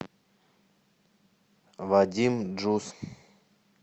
вадим джус